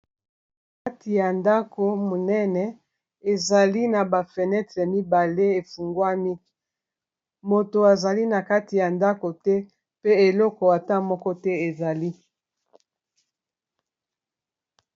na kati ya ndako monene ezali na bafenetre mibale efungwa miki moto azali na kati ya ndako te pe eloko ata moko te ezali